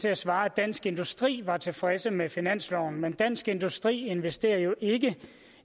at svare at dansk industri er tilfredse med finansloven men dansk industri investerer jo ikke